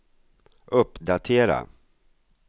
uppdatera